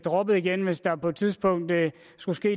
radikale venstre